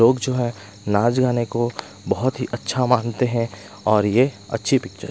लोग जो है नाच गाने को बहोत ही अच्छा मानते हैं और ये अच्छी पिक्चर --